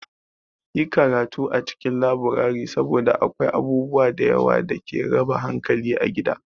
Yi karatu a cikin laburare saboda akwai abubuwa da yawa da ke raba hankali a gida.